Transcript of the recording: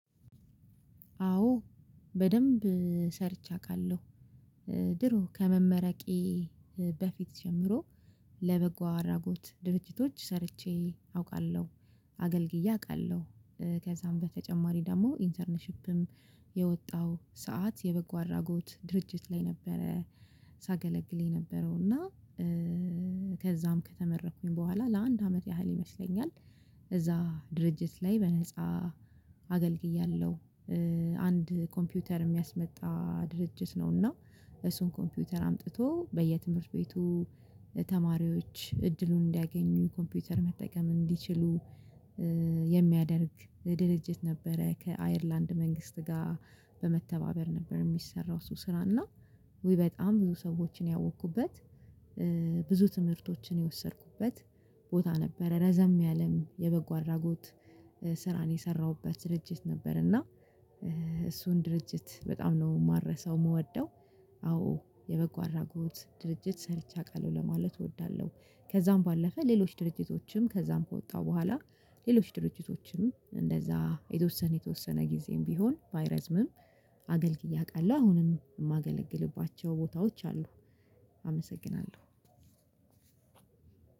አዎ በደንብ ሰርቼ አቃለሁ ድሮ ከመመረቄ በፊት ጀምሮ ለበጎ አራጎት ድርጅቶች ሰርቼ አውቃለሁ አገልግዬ አቃለሁ። ከዛም በተጨማሪ ደግሞ ኢንተርንሺፕም የወጣው ሰዓት የበጎ አራጎት ድርጅት ላይ ነበረ። ሳገለግል የነበረው እና ከዛም ከተመረኩኝ በኋላ ለአንድ አመት ያህል ይመስለኛል እዛ ድርጅት ላይ በነፃ አገልግያለሁ። አንድ ኮምፒውተር የሚያስመጣ ድርጅት ነው እና እሱን ኮምፒውተር አምጥቶ በየትምህርት ቤቱ ተማሪዎች እድሉን እንዲያገኙ ኮምፒውተር መጠቀም እንዲችሉ። የሚያደርግ ድልጅት ነበረ ከአይርላንድ መንግስት ጋር በመተባበር ነበር የሚሰራው እሱ። ስራ እና ውይ በጣም ብዙ ሰዎችን ያወኩበት ብዙ ትምህርቶችን የወሰድኩበት ቦታ ነበረ ረዘም ያለም የበጎ አድራጎት ስራን የሰራሁበት ድርጅት ነበረ። እና እሱን ድርጅት በጣም ነው ማረሳው ምወደው አዎ የበጎ አራጎት ድርጅት ሰርቼ አውቃለሁ ለማለት እወዳለሁ። ከዛም ባለፈ ሌሎች ድርጅቶችም ከዛም ከወጣው በኋላ ሌሎች ድርጅቶችም እንደዛ የተወሰነ የተወሰነ ጊዜም ቢሆን ባይረዝምም አገልግዬ አውቃለሁ አሁንም የማገለግልባቸው ቦታዎች አሉ። አመሰግናለሁ።